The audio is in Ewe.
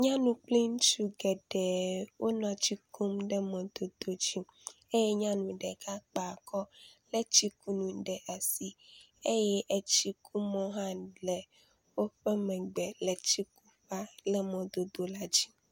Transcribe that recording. Nyɔnu kple ŋutsu geɖe wonɔ tsi kum ɖe mɔdodo dzi eye nyɔnu ɖeka kpe akɔ lé tsikunu ɖe asi eye tsikumɔ hã le woƒe megbe le tsikuƒea le mɔdodo la dzi.